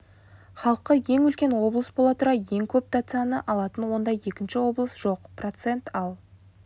халқы ең үлкен облыс бола тұра ең көп дотацияны алатын ондай екінші облыс жоқ процент ал